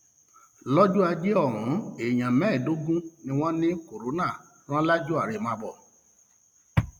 lọjọ ajé ohun èèyàn mẹẹẹdógún um ni wọn ní kọńtà rán lájọ um àrèmábọ